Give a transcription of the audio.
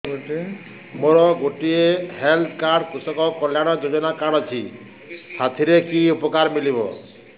ମୋର ଗୋଟିଏ health card କୃଷକ କଲ୍ୟାଣ ଯୋଜନା କାର୍ଡ ଅଛି ସାଥିରେ କି ଉପକାର ମିଳିବ